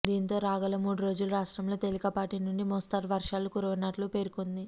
దీంతో రాగల మూడు రోజులు రాష్ట్రంలో తేలికపాటి నుండి మోస్తారు వర్షాలు కురవనున్నట్లు పేర్కొంది